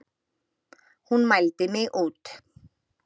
Hún mældi mig út.